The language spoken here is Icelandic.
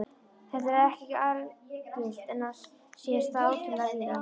Þetta er ekki algilt en á sér stað ótrúlega víða.